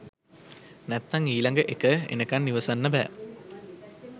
නැත්තං ඊලගඑක එනකන් ඉවසන්න බෑ